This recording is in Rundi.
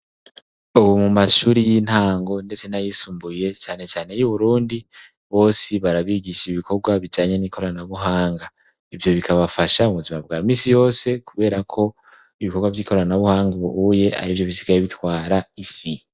Ubu mu mashuri y'intango ndetse nay'isumbuye cane cane y'Uburundi, bose barabigisha ibikorwa bijanye n'ikoranabuhanga. Ivyo bikabafasha mu buzima bwa misi yose kubera ko ibikorwa vy'ikoranabuhanga ubuye arivyo bisigaye bitwara isi.